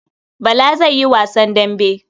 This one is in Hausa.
Bala zai yi wasan dambe.